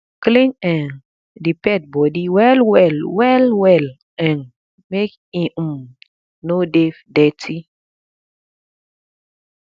clean um di pet body well well well well um make e um no dey dirty